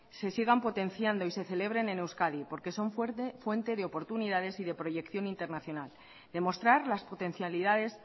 se sigan potenciando y se celebren en euskadi porque son fuente de oportunidades y de proyección internacional demostrar las potencialidades